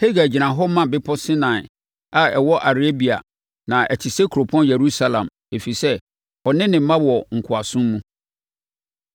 Hagar gyina hɔ ma bepɔ Sinai a ɛwɔ Arabia na ɛte sɛ kuropɔn Yerusalem, ɛfiri sɛ ɔne ne mma wɔ nkoasom mu.